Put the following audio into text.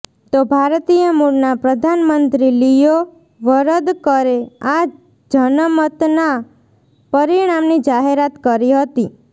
તો ભારતીય મૂળના પ્રધાનમંત્રી લિયો વરદકરે આ જનમતના પરિણામની જાહેરાત કરી હતી